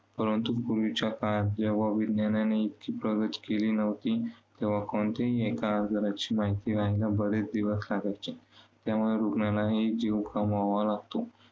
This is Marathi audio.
परंतु पूर्वीच्या काळात जेव्हा विज्ञानाने इतकी प्रगती केली नव्हती तेव्हा कोणत्याही एका आजाराची माहिती लागण्यास बरेच दिवस लागायचे. त्यामुळे रुग्णांनाही जीव गमवावा लागतो.